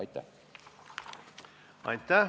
Aitäh!